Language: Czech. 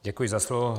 Děkuji za slovo.